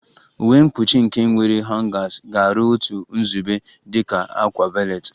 Uwe mkpuchi nke nwere hangers ga-aru otu nzube dị ka a ákwà valet